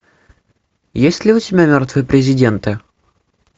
есть ли у тебя мертвые президенты